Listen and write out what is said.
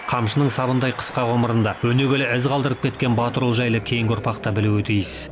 қамшының сабындай қысқа ғұмырында өнегелі із қалдырып кеткен батыр ұл жайлы кейінгі ұрпақ та білуі тиіс